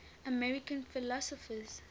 american philosophers